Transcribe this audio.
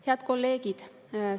Head kolleegid!